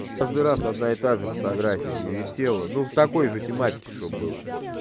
каждый раз одна и та же фотография не висела ну в такой же тематики чтобы был